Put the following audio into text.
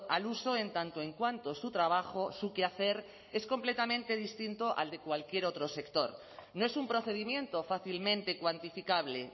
al uso en tanto en cuanto su trabajo su quehacer es completamente distinto al de cualquier otro sector no es un procedimiento fácilmente cuantificable